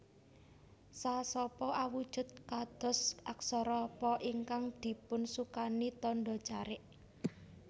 Sa sapa awujud kados aksara Pa ingkang dipunsukani tandha carik